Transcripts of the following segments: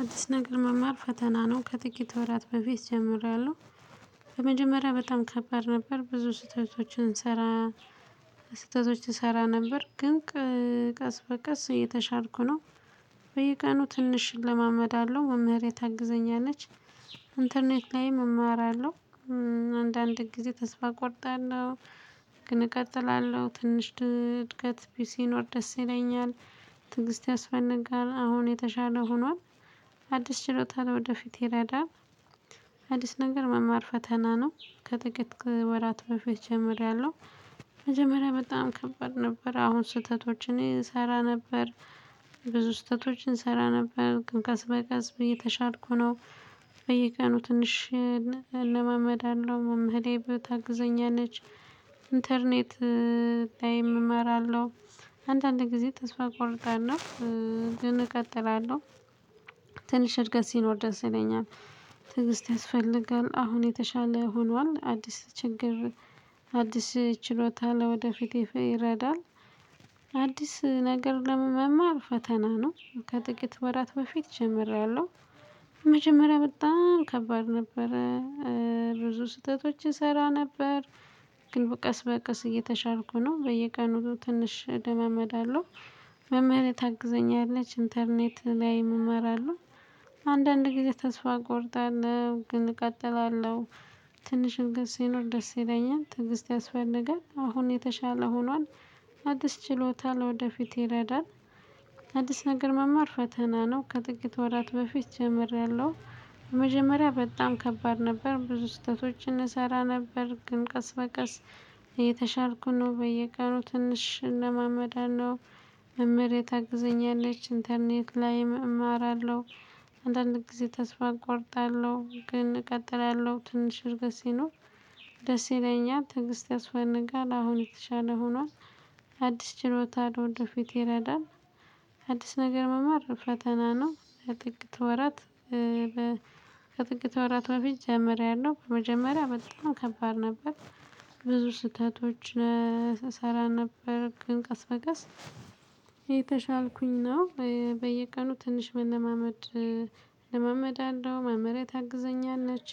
አዲስ ነገር መማር ፈተና ነው ከጥቂት ወራት በፊት ጀምሪያለሁ። በመጀመሪያ በጣም ከባድ ነበር ብዙ ስህተቶችን እሰራ ስህተቶች እሰራ ነበር ግን ቀስ በቀስ እየተሻልኩ ነው። በየቀኑ ትንሽ እለማመዳለሁ መምህሬ ታግዘኛለች። ኢንተርኔት ላይም እማራለሁ። አንዳንድ ጊዜ ተስፋ እቆርጣለሁ። ግን እቀጥላለሁ ትንሽ እድገት ሲኖር ደስ ይለኛል። ትዕግሥት ያስፈልጋል አሁን የተሻለ ሆኗል። አዲስ ችሎታ ለወደፊት ይረዳል። አዲስ ነገር መማር ፈተና ነው ከጥቂት ወራት በፊት ጀምሬያለሁ። መጀመሪያ በጣም ከበድ ነበር አሁን ስህተቶችን እሰራ ነበር ብዙ ስህተቶች እንሰራ ነበር ግን ቀሰ በቀስ እየተሻልኩ ነው። በየቀኑ ትንሽ እለማመዳለሁ መምህሬ ታግዘኛለች። ኢንተርኔት ላይም እማራለሁ። አንዳንድ ጊዜ ተስፋ ቆርጣለሁ። ግን እቀጥላለሁ። ትንሽ እድገት ሲኖር ደስ ይለኛል። ትዕግሥት ያስፈልጋል አሁን የተሻለ ሆኗል አዲስ ችግር አዲስ ችሎታ ለወደፊት ይረዳል። አዲስ ነገር ለመማር ፈተና ነው ከጥቂት ወራት በፊት ጀምሬያለሁ። መጀመሪያ በጣም ከባድ ነበረ። ብዙ ስህተቶች እሰራ ነበር። ግን በቀስ በቀስ እየተሻልኩ ነው በየቀኑ ትንሽ እለማመዳለሁ መምህሬ ታግዘኛለች ኢንተርኔት ላይ እማራለሁ። አንዳንድ ጊዜ ተስፋ እቆርጣለሁ ግን እቀጥላለሁ። ትንሽም ግን ሲኖር ደስ ይለኛል ትዕግስት ያስፈልጋል አሁን የተሻለ ሆኗል። አዲስ ችሎታ ለወደፊት ይረዳል። አዲስ ነገር መማር ፈተና ነው ከጥቂት ወራት በፊት ጀምሬያለሁ። መጀመሪያ በጣም ከባድ ነበር ብዙ ስህተቶችን እሰራ ነበር ግን ቀስ በቀስ እየተሻልኩ ነው በየቀኑ ትንሽ እለማመዳለሁ። መምህር ታግዘኛለች ኢንተርኔት ላይም እማራለሁ። አንዳንድ ጊዜ ተስፋ እቆርጣለሁ ግን እቀጥላለሁ ትንሽ እድገት ሲኖር ደስ ይለኛል ትዕግሥት ያስፈልጋል አሁን የተሻለ ሆኗል። አዲስ ችሎታ ወደ ፊት ይረዳል። አዲስ ነገር መማር ፈተና ነው ከጥቅት ወራት። ከጥቅት ወራት በፊት ጀምሬያለሁ በመጀመሪያ በጣም ከባድ ነበር። ብዙ ስህተቶች እሰራ ነበር ግን ቀስ በቀስ እየተሻልኩኝ ነው በየቀኑ ትንሽ መለማመድ። እለማመዳለሁ መምህሬ ታግዘኛለች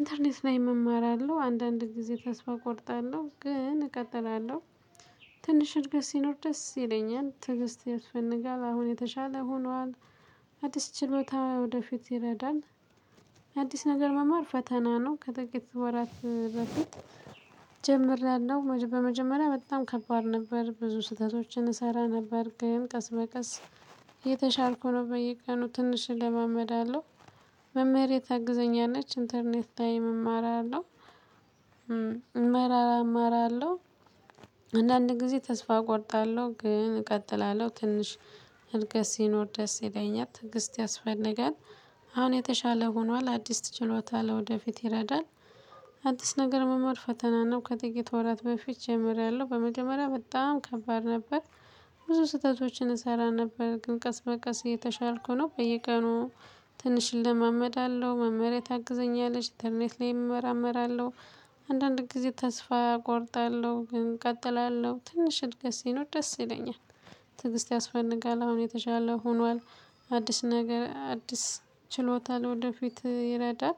ኢንተርኔት ላይም እማራለሁ አንዳንድ ጊዜ ተስፋ እቆርጣለሁ ግን እቀጥላለሁ። ትንሽ እድገት ሲኖር ደስ ይለኛል ትዕግሥት ያስፈልጋል አሁን የተሻለ ሆኗል። አዲስ ችሎታ ወደፊት ይረዳል። አዲስ ነገር መማር ፈተና ነው ከጥቂት ወራት በፊት። ጀምሬያለሁ በመጀመሪያ በጣም ከባድ ነበር ብዙ ስህተቶችን እሰራ ነበር ግን ቀስ በቀስ። እየተሻልኩ ነው በየቀኑ ትንሽ እለማመዳለሁ። መምህሬ ታግዘኛለች ኢንተርኔት ላይም እማራለሁ። እመራመራለሁ አንዳንድ ጊዜ ተስፋ እቆርጣለሁ ግን እቀጥላለሁ ትንሽ እድገት ሲኖር ደስ ይለኛል ትዕግሥት ያስፈልጋል። አሁን የተሻለ ሆኗል አዲስ ችሎታ ለወደፊት ይረዳል። አዲስ ነገር መማር ፈተና ነው ከጥቂት ወራት በፊት ጀምሬያለሁ በመጀመሪያ በጣም ከባድ ነበር። ብዙ ስህተቶችን እሰራ ነበር ግን ቀስ በቀስ እየተሻልኩ ነው በየቀኑ ትንሽ እለማመዳለሁ መምህሬ ታግዘኛለች ኢንተርኔት ላይም እመራመራለሁ። አንዳንድ ጊዜ ተስፋ እቆርጣለሁ ግን እቀጥላለሁ ትንሽ እድገት ሲኖር ደስ ይለኛል። ትዕግሥት ያስፈልጋል አሁን የተሻለ ሆኗል። አዲስ ነገር አዲስ ችሎታ ለወደፊት ይረዳል።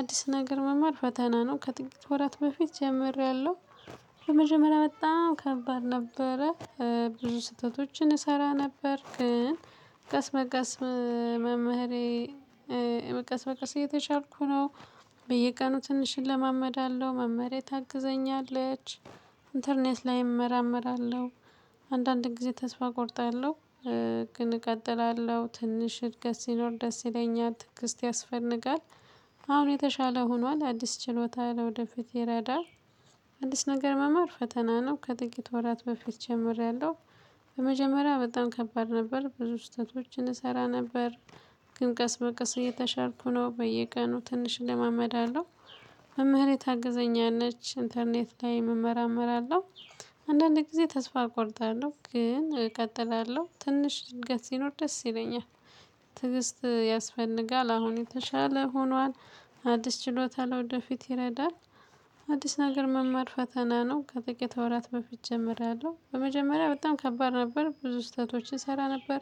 አዲስ ነገር መማር ፈተና ነው ከጥቂት ወራት በፊት ጀምሬያለሁ። በመጀመሪያ በጣም ከባድ ነበረ። ብዙ ስህተቶችን እሰራ ነበር ግን ቀስ መቀስ መምህሬ በቀስ በቀስ እየተሻልኩ ነው። በየቀኑ ትንሽ እለማመዳለሁ መምህሬ ታግዘኛለች። ኢንተርኔት ላይ እመራመራለሁ። አንዳንድ ጊዜ ተስፋ እቆርጣለሁ። ግን እቀጥላለሁ ትንሽ እድገት ሲኖር ደስ ይለኛል ትዕግሥት ያስፈልጋል። አሁን የተሻለ ሆኗል አዲስ ችሎታ ለወደፊት ይረዳል። አዲስ ነገር መማር ፈተና ነው ከጥቂት ወራት በፊት ጀምሬያለሁ። በመጀመሪያ በጣም ከባድ ነበር ብዙ ስህተቶችን እሰራ ነበር። ግን ቀስ በቀስ እየተሻልኩ ነው በየቀኑ ትንሽ እለማመዳለሁ። መምህሬ ታግዘኛለች ኢንተርኔት ላይ እመራመራለሁ። አንዳንድ ጊዜ ተስፋ እቆርጣለሁ ግን እቀጥላለሁ ትንሽ እድገት ሲኖር ደስ ይለኛል። ትዕግስት ያስፈልጋል አሁን የተሻለ ሆኗል። አዲስ ችሎታ ለወደፊት ይረዳል። አዲስ ነገር መማር ፈተና ነው ከጥቂት ወራት በፊት ጀምሬያለሁ በመጀመሪያ በጣም ከባድ ነበር ብዙ ስህተቶችን እሰራ ነበር።